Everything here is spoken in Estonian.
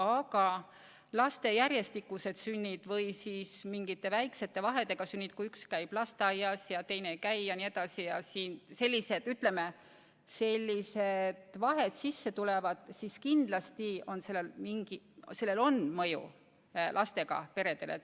Aga laste järjestikused ehk siis mingite väikeste vahedega sünnid, kui üks laps käib lasteaias ja teine ei käi ja nii edasi – kui sissetulekus sellised vahed sisse tulevad, siis kindlasti on sellel mõju lastega peredele.